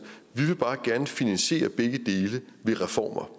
vi vil bare gerne finansiere begge dele ved reformer